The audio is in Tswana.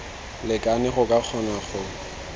lekane go ka kgona go